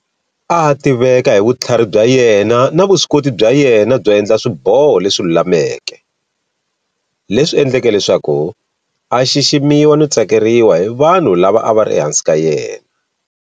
A a tiveka hi vutlhari bya yena na vuswikoti bya yena byo endla swiboho leswi lulameke, leswi endleke leswaku a xiximiwa no tsakeriwa hi vanhu lava a va ri ehansi ka yena.